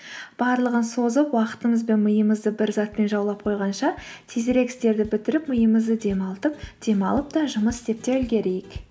барлығын созып уақытымыз бен миымызды бір затпен жаулап қойғанша тезірек істерді бітіріп миымызды демалтып демалып та жұмыс істеп те үлгерейік